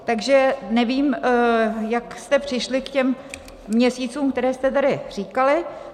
Takže nevím, jak jste přišli k těm měsícům, které jste tady říkali.